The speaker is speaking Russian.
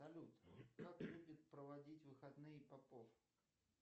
салют как любит проводить выходные попов